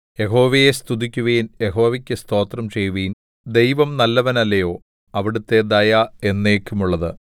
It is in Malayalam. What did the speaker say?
യഹോവയെ സ്തുതിക്കുവിൻ യഹോവയ്ക്കു സ്തോത്രം ചെയ്യുവിൻ ദൈവം നല്ലവനല്ലയോ അവിടുത്തെ ദയ എന്നേക്കും ഉള്ളത്